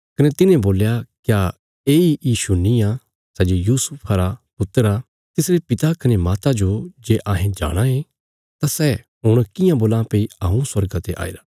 कने तिन्हे बोल्या क्या ये सैई यीशु निआं सै जे यूसुफा रा पुत्र आ तिसरे पिता कने माता जो जे अहें जाणाँ ये तां सै हुण कियां बोलां भई हऊँ स्वर्गा ते आईरा